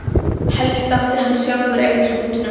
Helst átti hann sjálfur að eiga skútuna.